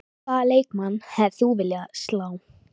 Hvaða leikmann hefðir þú viljað slá?